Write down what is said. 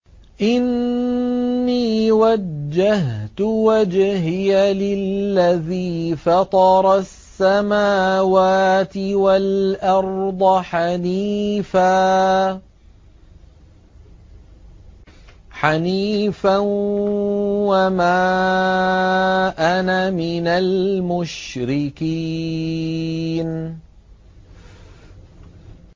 إِنِّي وَجَّهْتُ وَجْهِيَ لِلَّذِي فَطَرَ السَّمَاوَاتِ وَالْأَرْضَ حَنِيفًا ۖ وَمَا أَنَا مِنَ الْمُشْرِكِينَ